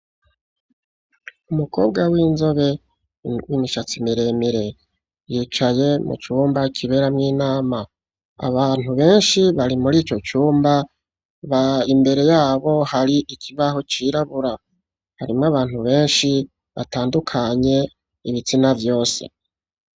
Umukobwa w'inzobe w'imishatsi miremire, yicaye mu cumba kiberamwo inama. Abantu benshi bari muri ico cumba, imbere yabo hari ikibaho cirabura harimwo abantu benshi batandukanye ibitsina vyose.